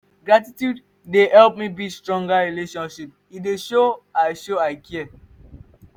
gratitude dey help me build stronger relationships; e dey show i show i care.